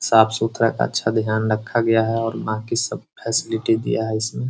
साफ़ सुथरा अच्छा ध्यान रखा गया हैऔर बाकी सब फैसिलिटी दिया है इसमें।